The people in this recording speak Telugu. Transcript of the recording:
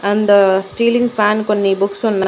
అండు స్టీలింగ్ ఫ్యాన్ కొన్ని బుక్సున్నా --